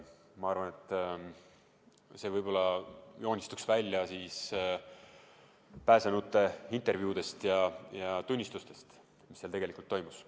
Ma arvan, et võib-olla joonistuks pääsenute intervjuudest ja tunnistustest välja, mis seal tegelikult toimus.